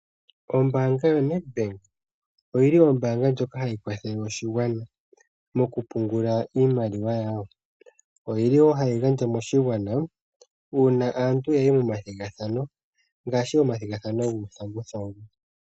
Ombaanga yo Nedbank oyili Ombaanga ndjoka hayi kwathele oshigwana mo kupungula iimaliwa yawo, oyili woo hayi gandja moshigwana, uuna aantu yayi mo mathigathano, ngaashi omathigathano guuthanguthangu.